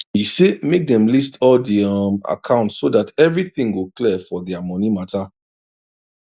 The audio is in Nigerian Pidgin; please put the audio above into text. e say make them list all di um account so that everything go clear for their money matter